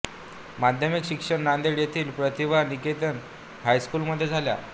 माध्यमिक शिक्षण नांदेड येथील प्रतिभा निकेतन हायस्कूल मध्ये झाले